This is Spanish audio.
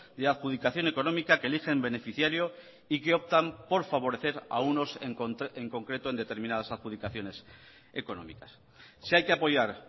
de adjudicación económica que eligen beneficiario y que optan por favorecer a unos en concreto en determinadas adjudicaciones económicas si hay que apoyar